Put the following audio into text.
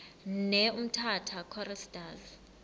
ne umtata choristers